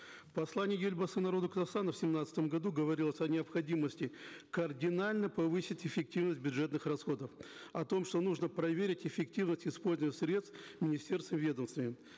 в послании елбасы народу казахстана в семнадцатом году говорилось о необходимости кардинально повысить эффективность бюджетных расходов о том что нужно проверить эффективность использования средств министерствами ведомствами